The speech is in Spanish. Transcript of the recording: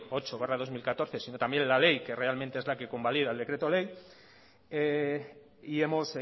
ocho barra dos mil catorce sino también la ley que realmente es la que convalida el decreto ley y hemos